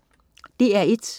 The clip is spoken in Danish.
DR1: